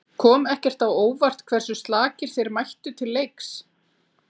Kom ekki á óvart hversu slakir þeir mættu til leiks?